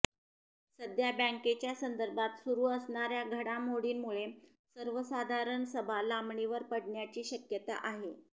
सध्या बँकेच्या संदर्भात सुरू असणार्या घडामोडींमुळे सर्वसाधारण सभा लांबणीवर पडण्याची शक्यता आहे